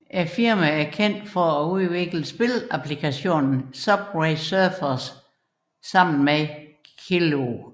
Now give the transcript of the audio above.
Firmaet er kendt for at udvikle spilapplikationen Subway Surfers sammen med Kiloo